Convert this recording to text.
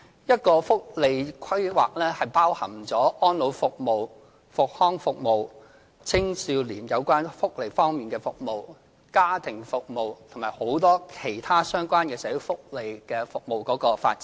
社會福利規劃包含安老服務、復康服務、青少年有關福利方面的服務、家庭服務，以及很多其他相關的社會福利服務的發展。